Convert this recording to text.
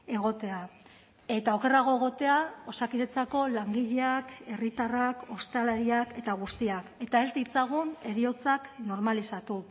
egotea eta okerrago egotea osakidetzako langileak herritarrak ostalariak eta guztiak eta ez ditzagun heriotzak normalizatu